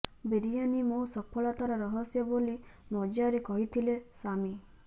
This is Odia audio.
ବିରିୟାନି ମୋ ସଫଳତାର ରହସ୍ୟ ବୋଲି ମଜାରେ କହିଥିଲେ ସାମି